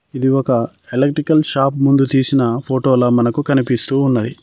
ఇది ఒక electrical shop ముందు తీసిన ఫోటోల మనకు కనిపిస్తూ ఉన్నది.